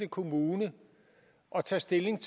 kommune at tage stilling